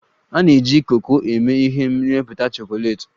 A na-eji koko eme ihe n'ịmepụta chocolates.